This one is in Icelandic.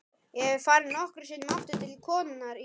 Ég hef farið nokkrum sinnum aftur til konunnar í